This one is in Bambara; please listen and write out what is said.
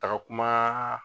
Taga kuma.